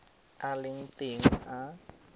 a a leng teng a